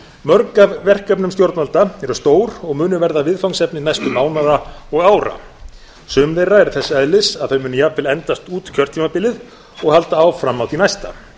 mörg af verkefnum stjórnvalda eru stór og munu verða viðfangsefni næstu mánaða og ára sum þeirra eru þess eðlis að þau munu jafnvel endast út kjörtímabilið og halda áfram á því næsta